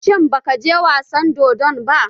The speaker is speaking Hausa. Shin ba ka je wasan dodon ba?